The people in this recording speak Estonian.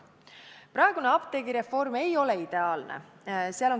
Praegune apteegireform ei ole ideaalne.